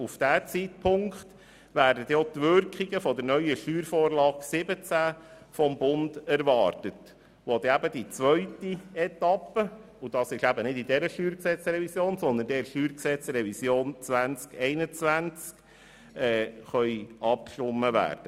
Auf diesen Zeitpunkt werden auch die Wirkungen der neuen SV17 vom Bund erwartet, die erst in der zweiten Etappe und damit im Rahmen der StG-Revision 2021 umgesetzt werden kann.